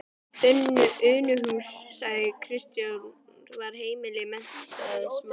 Unuhús, sagði Kristján, var heimili menntaðs manns.